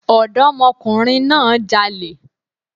Ọ̀dọ́mọkùnrin náà jalè